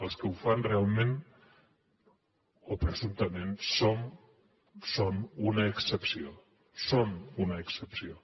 els que ho fan realment o presumptament són una excepció són una excepció